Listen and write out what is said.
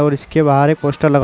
और इसके बाहर एक पोस्टर लगा--